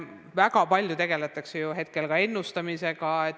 Väga palju tegeldakse praegu ennustamisega.